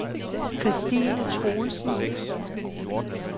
Christine Truelsen